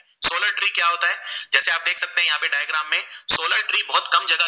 Tree बोहोत कम जगह